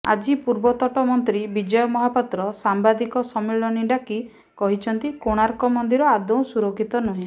ଆଜି ପୂର୍ବତନ ମନ୍ତ୍ରୀ ବିଜୟ ମହାପାତ୍ର ସାମ୍ବାଦିକ ସମ୍ମିଳନୀ ଡାକି କହିଛନ୍ତି କୋଣାର୍କ ମନ୍ଦିର ଆଦୌ ସୁରକ୍ଷିତ ନୁହେଁ